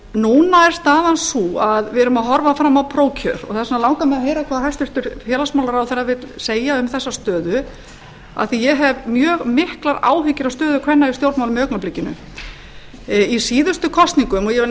núna er staðan sú að við erum að horfa fram á prófkjör og þess vegna langar mig að heyra hvað hæstvirts félagsmálaráðherra vill segja um þessa stöðu af því að ég hef mjög miklar áhyggjur af stöðu kvenna í stjórnmálum í augnablikinu í síðustu kosningum og